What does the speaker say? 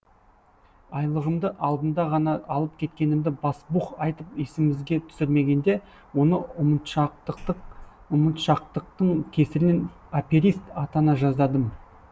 айлығымды алдында ғана алып кеткенімді басбух айтып есімізге түсірмегенде оны ұмытшақтықтың кесірінен аперист атана жаздадым